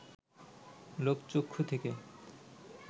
লোকচক্ষু থেকে